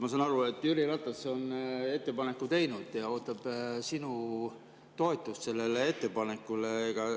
Ma saan aru, et Jüri Ratas on ettepaneku teinud ja ootab sinu toetust sellele ettepanekule.